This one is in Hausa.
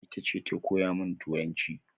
Itace ta koya min turanci